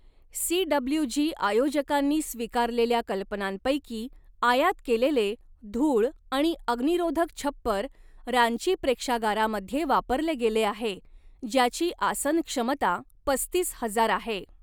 CWG. आयोजकांनी स्वीकारलेल्या कल्पनांपैकी आयात केलेले, धूळ आणि अग्निरोधक छप्पर रांची प्रेक्षागारामध्ये वापरले गेले आहे, ज्याची आसन क्षमता पस्तीस हजार आहे.